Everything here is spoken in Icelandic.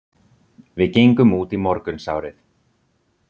Við gengum út í morgunsárið.